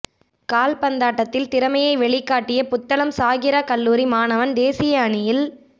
கால்பந்தாட்டத்தில் திறமையை வெளிக்காட்டிய புத்தளம் சாஹிரா கல்லூரி மாணவன் தேசிய அணியில்